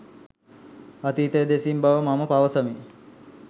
අතීතය දෙසින් බව මම පවසමි